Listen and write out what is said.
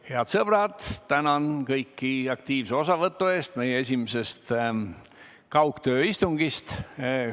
Head sõbrad, tänan kõiki aktiivse osavõtu eest meie esimesest kaugtööistungist!